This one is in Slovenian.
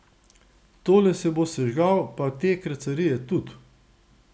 Tole se bo sežgal pa te kracarije tud!